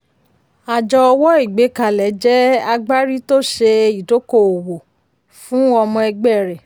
àjọ ọwọ́ ìgbé kalẹ̀ jẹ́ agbárí tó ṣe idoko-owó fún ọmọ ẹgbẹ́ rẹ.